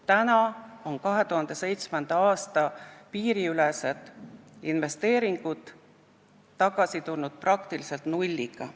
Tänaseks on 2007. aasta piiriülesed investeeringud tulnud tagasi praktiliselt nulliga.